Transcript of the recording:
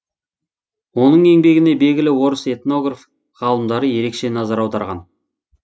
оның еңбегіне белгілі орыс этнограф ғалымдары ерекше назар аударған